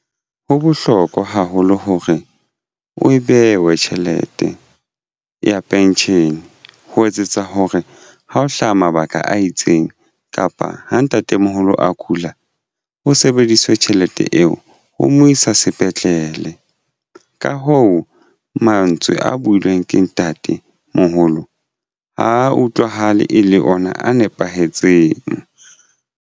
Ho bohlokwa haholo hore e bewe tjhelete ya pension ho etsetsa hore ha ho hlaha mabaka a itseng kapa ha ntatemoholo a kula ho sebediswe tjhelete eo ho mo isa sepetlele. Ka hoo mantswe a builweng ke ntatemoholo ha utlwahale e le ona a nepahetseng.